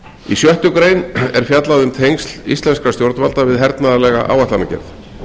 í sjöttu grein er fjallað um tengsl íslenskra stjórnvalda við hernaðarlega áætlanagerð